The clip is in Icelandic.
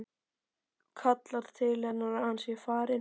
Kallar til hennar að hann sé farinn.